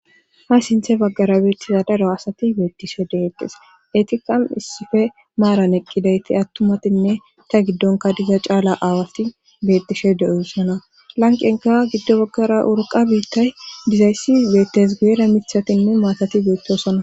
Ha sinththe bagara betiza daro asati betishe de'etes. etikka issipetetha maaaran eqqidayti attumatinne ista gidonkka diza caala aawati beetishe de'osona. Lanqqenkka gido bagara urqqa biitay dizayssi beetees. guyera mithatinne maatati beetosona.